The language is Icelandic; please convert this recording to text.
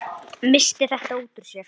Missti þetta út úr sér.